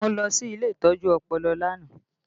Mo lọ sí ilé ìtọ́jú ọpọlọ lánàá